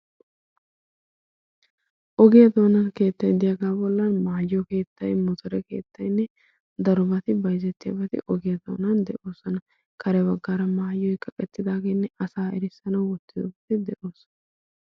ogiya dona keettay de'iyaa bollan maayo keetta, muccura keettay, darobati bayzzetiyabati ogiyan doonan de'oosona. kare baggaara maayoy kaqeetidaagenne asaa erissnaw wottidooge de'oosona.